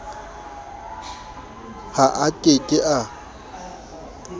ha a ke ke a